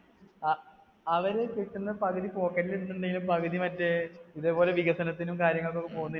അ അവരെ കിട്ടുന്ന പകുതി pocket ൽ ഇടുന്നുണ്ടേലും പകുതി മറ്റേ, ഇതേപോലെ വികസനത്തിനും കാര്യങ്ങൾക്കും ഒക്കെ പോകുന്നു